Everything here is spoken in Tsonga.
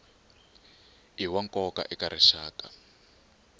i wa nkoka eka rixaka